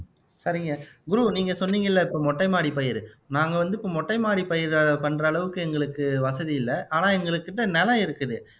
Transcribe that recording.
சரிங்க குரு நீங்க சொன்னீங்கல்ல இப்ப மொட்டை மாடி பயிர் நாங்க வந்து இப்ப மொட்டை மாடி பயிர் பண்ற அளவுக்கு எங்களுக்கு வசதி இல்லை ஆனா எங்கள்கிட்ட நிலம் இருக்குது